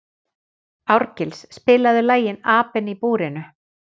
Árgils, spilaðu lagið „Apinn í búrinu“.